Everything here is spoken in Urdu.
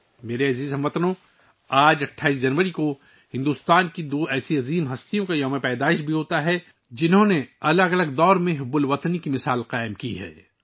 میرے پیارے ہم وطنو، آج 28 جنوری کو بھارت کی دو عظیم شخصیات کا یوم پیدائش بھی ہے جنھوں نے مختلف ادوار میں حب الوطنی کی مثال قائم کی ہے